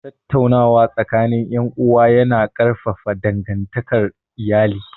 Tattaunawa tsakanin ’yan’uwa ya na ƙarfafa dangantakar iyali